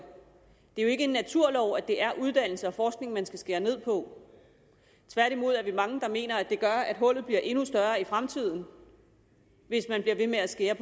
det er ikke en naturlov at det er uddannelse og forskning man skal skære ned på tværtimod er vi mange der mener at det gør at hullet bliver endnu større i fremtiden hvis man bliver ved med at skære